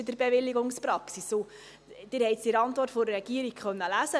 Sie konnten es in der Antwort der Regierung lesen: